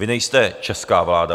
Vy nejste česká vláda.